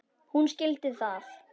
Hún skildi það.